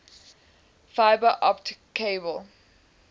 fiber optic cable